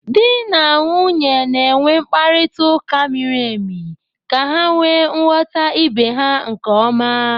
Di na nwunye na-enwe mkparịta ụka miri emi ka ha wee ghọta ibe ha nke ọma